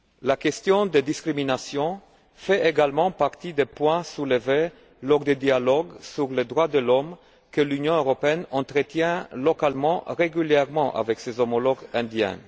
La question des discriminations fait également partie des points soulevés lors des dialogues sur les droits de l'homme que l'Union européenne entretient localement régulièrement avec ses homologues indiens.